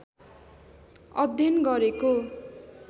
अध्ययन गरेको